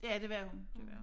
Ja det var hun det var hun